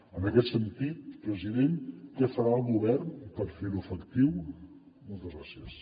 en aquest sentit president què farà el govern per fer ho efectiu moltes gràcies